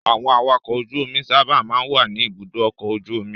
Àwọn awakọ̀ ojú-omi sábà máa ń wà ní Ibùdó-ọkọ̀ ojú-omi.